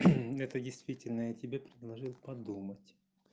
это действительно я тебе предложил подумать